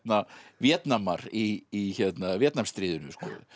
Víetnamar í Víetnamstríðinu